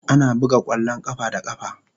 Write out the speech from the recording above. Ana buga kwallon kafa da kafa.